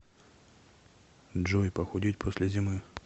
джой похудеть после зимы